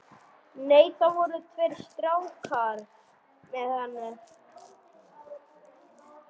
Nei, það voru tveir strákar með henni.